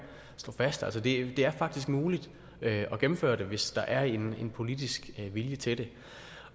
slå fast altså det er faktisk muligt at gennemføre det hvis der er en politisk vilje til det